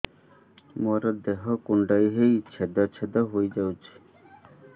ମୋ ଦେହ କୁଣ୍ଡେଇ ହେଇ ଛେଦ ଛେଦ ହେଇ ଯାଉଛି